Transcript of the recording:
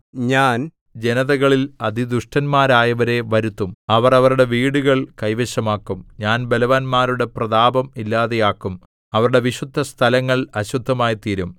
ഞാൻ ജനതകളിൽ അതിദുഷ്ടന്മാരായവരെ വരുത്തും അവർ അവരുടെ വീടുകൾ കൈവശമാക്കും ഞാൻ ബലവാന്മാരുടെ പ്രതാപം ഇല്ലാതെയാക്കും അവരുടെ വിശുദ്ധസ്ഥലങ്ങൾ അശുദ്ധമായിത്തീരും